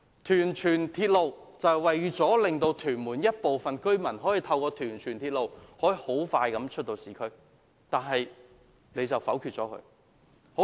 屯荃鐵路是為了讓屯門部分居民可以經屯荃鐵路迅速到市區，但政府卻否決了。